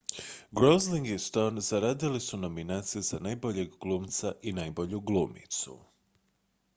gosling i stone zaradili su nominacije za najboljeg glumca i najbolju glumicu